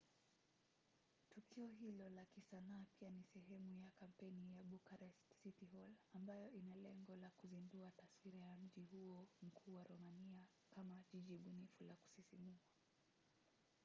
tukio hilo la kisanaa pia ni sehemu ya kampeni ya bucharest city hall ambayo ina lengo la kuzindua taswira ya mji huo mkuu wa romania kama jiji bunifu la kusisimua